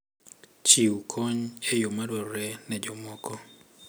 Chiw kony e yo madwarore ne jomoko.